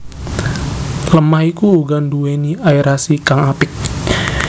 Lemah iku uga nduwéni aerasi kang apik